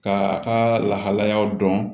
Ka a ka lahalayaw dɔn